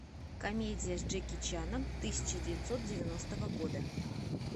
комедия с джеки чаном тысяча девятьсот девяностого года